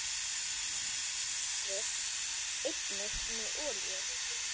Penslið lærið einnig með olíu.